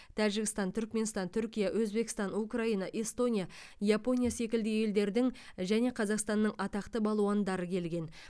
тәжікстан түрікменстан түркия өзбекстан украина эстония япония секілді елдердің және қазақстанның атақты балуандары келген